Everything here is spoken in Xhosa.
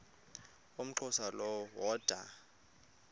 umxhosa lo woda